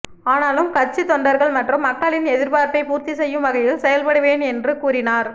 ஆனாலும் கட்சித் தொண்டர்கள் மற்றும் மக்களின் எதிர்பார்ப்பை பூர்த்தி செய்யும் வகையில் செயல்படுவேன் என்று கூறினார்